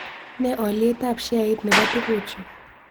Ne alyetap sheait ne po tuguchuu